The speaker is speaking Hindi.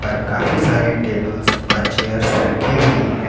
पर काफी सारे टेबल्स व चेयर्स रखी हुई है।